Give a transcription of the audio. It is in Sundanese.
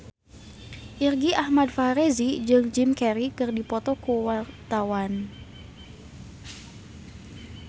Irgi Ahmad Fahrezi jeung Jim Carey keur dipoto ku wartawan